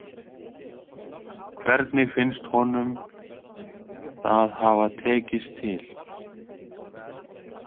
Hvernig finnst honum það hafa tekist til?